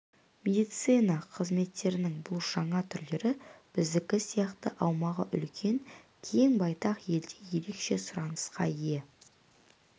медицина қызметтерінің бұл жаңа түрлері біздікі сияқты аумағы үлкен кең байтақ елде ерекше сұранысқа ие